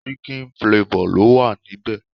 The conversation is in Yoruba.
Chicken flavor lo wa níbẹ̀